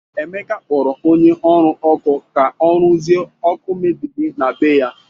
Emeka kpọrọ onye ọrụ ọkụ ka ọrụzie ọkụ mebiri na bé ya.